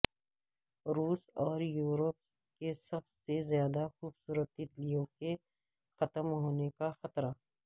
روس اور یورپ کے سب سے زیادہ خوبصورت تیتلیوں کے ختم ہونے کا خطرہ